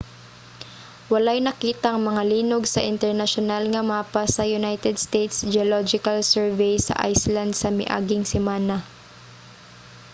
walay nakitang mga linog sa internasyonal nga mapa sa united states geological survey sa iceland sa miaging semana